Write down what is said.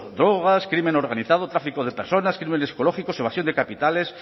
drogas crimen organizado tráfico de personas crímenes ecológicos evasión de capitales